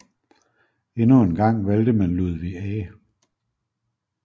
Endnu en gang valgte man Ludvig A